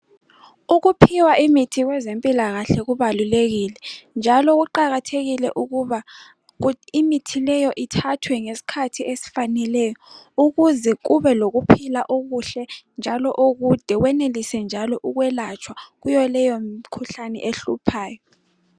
Ukuphiwa imithi kwezempilakahle kubalulekile, njalo kuqakathekile ukuba imithi leyo ithathwe ngesikhathi esifaneleyo ukuze kube lokuphila okuhle njalo okude , wenelise njalo ukwelatshwa kuyo leyo mikhuhlane ehluphayo.